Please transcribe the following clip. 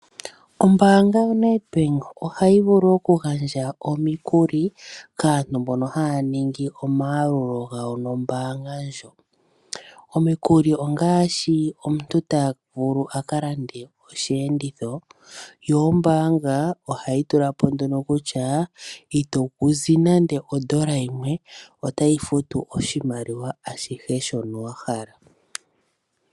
Ombaanga yoNedbank ohayi vulu okugandja omikuli kaantu mbono haya nibgi omayalulo gawo nombaanga ndjo. Omikuli ongaashi omuntu tavulu akalande osheenditho yo ombaanga ohayi tula po nduno kutya itozi nande ondola yimwe, otayi futu oshimaliwa ashihe shono wahala.